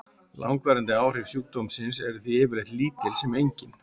Langvarandi áhrif sjúkdómsins eru því yfirleitt lítil sem engin.